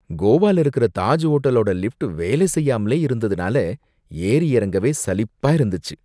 கோவால இருக்கிற தாஜ் ஹோட்டலோட லிஃப்ட் வேலை செய்யாமலே இருந்ததுனால ஏறிஎறங்கவே சலிப்பா இருந்துச்சு.